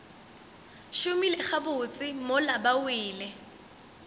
šomile gabotse mola ba wele